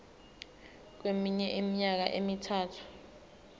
kweminye iminyaka emithathu